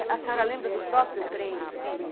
A senhora lembra do próprio trem em si?